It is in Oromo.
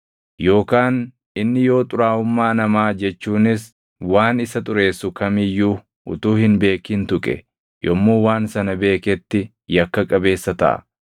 Yookaan inni yoo xuraaʼummaa namaa jechuunis waan isa xureessu kam iyyuu utuu hin beekin tuqe, yommuu waan sana beeketti yakka qabeessa taʼa.